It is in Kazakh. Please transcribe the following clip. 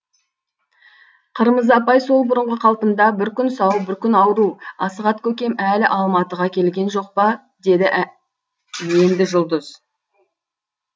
қырмызы апай сол бұрынғы қалпында бір күн сау бір күн ауру асығат көкем әлі алматыға келген жоқ па деді енді жұлдыз